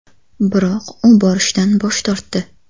Biroq u borishdan bosh tortdi.